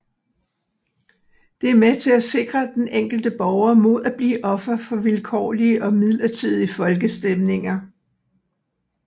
Det er med til at sikre den enkelte borger mod at blive offer for vilkårlige og midlertidige folkestemninger